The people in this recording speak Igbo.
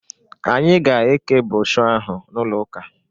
Anyi ga-eke brọshọ ahụ n'ụlo ụka